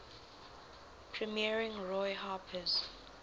premiering roy harper's